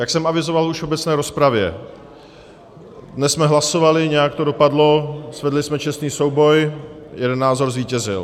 Jak jsem avizoval už v obecné rozpravě, dnes jsme hlasovali, nějak to dopadlo, svedli jsme čestný souboj, jeden názor zvítězil.